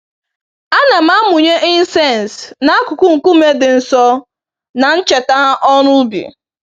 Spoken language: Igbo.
Ana m amụnye incense n'akụkụ nkume dị nsọ, na ncheta ọrụ ubi